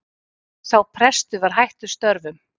Sá prestur er hættur störfum